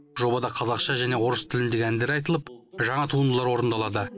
жобада қазақша және орыс тіліндегі әндер айтылып жаңа туындылар орындалады